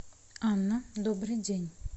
анна добрый день